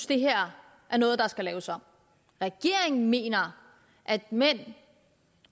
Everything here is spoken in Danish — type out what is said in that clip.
det her er noget der skal laves om regeringen mener at mænd